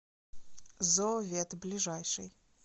зоовет ближайший